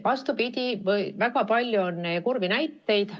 Vastupidi, väga palju on kurbi näiteid.